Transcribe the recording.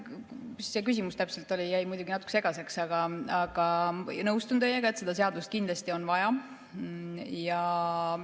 Mis see küsimus täpselt oli, jäi muidugi natuke segaseks, aga nõustun teiega, et seda seadust kindlasti on vaja.